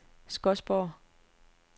Skodsborg